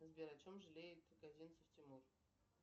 сбер о чем жалеет козинцев тимур